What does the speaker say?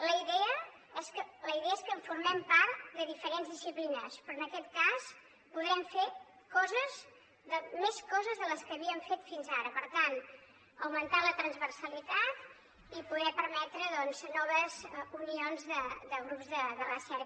la idea és que en formem part de diferents disciplines però en aquest cas podrem fer més coses de les que havíem fet fins ara per tant augmentar la transversalitat i poder permetre noves unions de grups de recerca